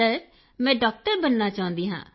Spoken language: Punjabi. ਕ੍ਰਿਤਿਕਾ ਸਰ ਮੈਂ ਡਾਕਟਰ ਬਣਨਾ ਚਾਹੁੰਦੀ ਹਾਂ